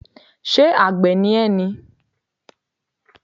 Ṣé àgbẹ̀ ni ẹ́ ni?